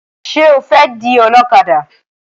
Ṣé o fẹ́ di ọlọ́kadà?